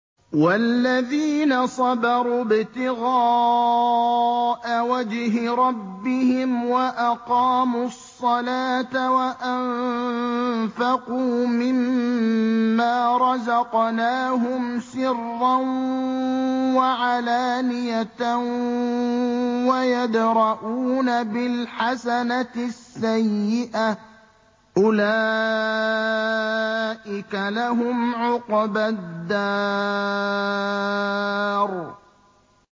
وَالَّذِينَ صَبَرُوا ابْتِغَاءَ وَجْهِ رَبِّهِمْ وَأَقَامُوا الصَّلَاةَ وَأَنفَقُوا مِمَّا رَزَقْنَاهُمْ سِرًّا وَعَلَانِيَةً وَيَدْرَءُونَ بِالْحَسَنَةِ السَّيِّئَةَ أُولَٰئِكَ لَهُمْ عُقْبَى الدَّارِ